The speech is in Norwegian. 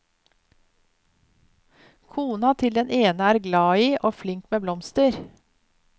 Kona til den ene er glad i og flink med blomster.